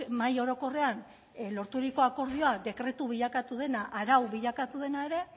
mahai orokorrean lorturiko akordioa dekretu bilakatu dena arau bilakatu dena ere